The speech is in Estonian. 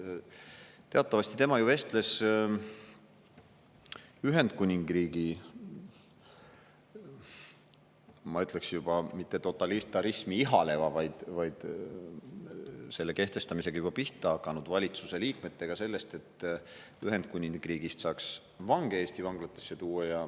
Teatavasti tema vestles Ühendkuningriigi, ma ütleksin, juba mitte totalitarismi ihaleva, vaid selle kehtestamisega juba pihta hakanud valitsuse liikmetega sellest, et Ühendkuningriigist saaks vange Eesti vanglatesse tuua.